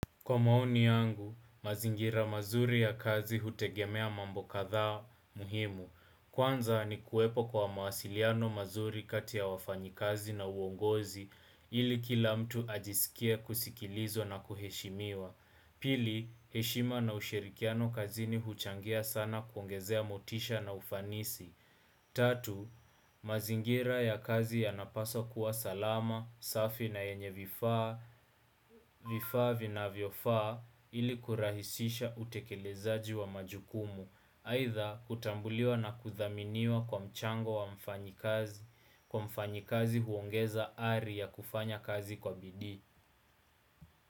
Kwa maoni yangu, mazingira mazuri ya kazi hutegemea mambo kadhaa muhimu. Kwanza ni kuepo kwa mawasiliano mazuri kati ya wafanyikazi na uongozi ili kila mtu ajisikie kusikilizwa na kuheshimiwa. Pili, heshima na ushirikiano kazini huchangia sana kuongezea motisha na ufanisi. Tatu, mazingira ya kazi yanapaswa kuwa salama, safi na yenye vifaa, vifaa vinavyofaa ili kurahisisha utekelezaji wa majukumu, aidha kutambuliwa na kuthaminiwa kwa mchango wa mfanyikazi, kwa mfanyikazi huongeza ari ya kufanya kazi kwa bidii.